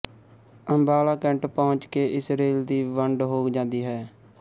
Ambala cantt ਪਹੁੰਚ ਕੇ ਇਸ ਰੇਲ ਦੀ ਵੰਡ ਹੋ ਜਾਂਦੀ ਹੈ